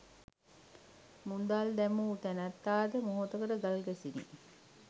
මුදල් දැමූ නැනැත්තා ද මොහොතකට ගල් ගැසුනි.